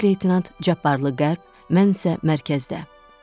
Baş leytenant Cabbarlı qərb, mən isə mərkəzdə.